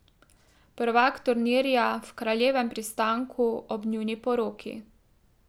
Prvak turnirja v Kraljevem pristanku ob njuni poroki.